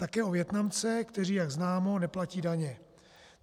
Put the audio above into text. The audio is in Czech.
Také o Vietnamce, kteří, jak známo, neplatí daně.